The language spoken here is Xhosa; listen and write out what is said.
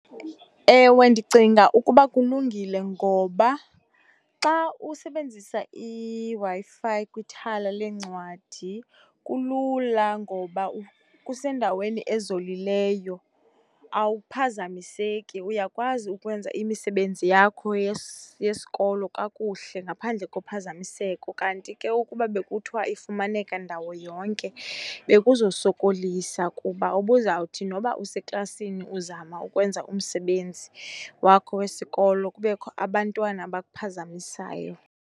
Ewe, ndicinga ukuba kulungile ngoba xa usebenzisa iWi-Fi kwithala leencwadi kulula ngoba kusendaweni ezolileyo, awuphazamiseki uyakwazi ukwenza imisebenzi yakho yesikolo kakuhle ngaphandle kophazamiseko. Kanti ke ukuba bekuthiwa ifumaneka ndawo yonke bekuzosokolisa kuba ubuzawuthi noba useklasini uzama ukwenza umsebenzi wakho wesikolo kubekho abantwana abakuphazamisayo.